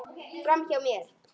Framhjá mér.